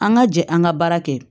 An ka jɛ an ka baara kɛ